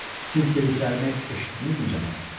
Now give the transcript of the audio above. Siz dediklərimi eşitdinizmi, cənab?